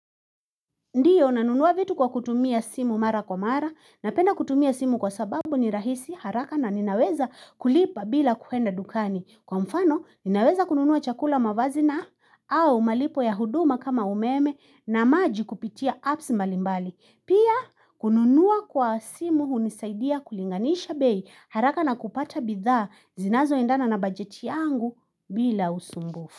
Ndio, nanunua vitu kwa kutumia simu mara kwa mara, napenda kutumia simu kwa sababu ni rahisi, haraka na ninaweza kulipa bila kuenda dukani. Kwa mfano, ninaweza kununua chakula mavazi na au malipo ya huduma kama umeme na maji kupitia apps mbalimbali. Pia, kununua kwa simu hunisaidia kulinganisha bei haraka na kupata bidhaa zinazoendana na bajeti yangu bila usumbufu.